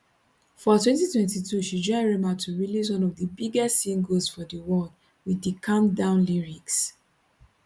for 2022 she join rema to release one of di biggest singles for di world wit di calm down lyrics